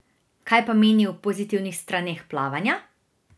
Kaj pa meni o pozitivnih straneh plavanja?